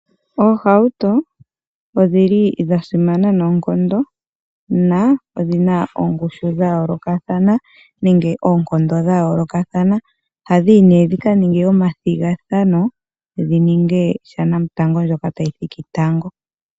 Oohauto odhili dha simana noonkondo na odhina ongushu dha yoolokathana nenge oonkondo dha yoolokathana. Ohadhi yi nee dhika ninge omathigathano dhi ninge shanamutango ndjoka tayi thiki tango.